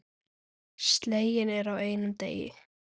Sleginn er á einum degi.